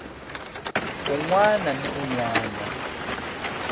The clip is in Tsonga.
un wana ni un wana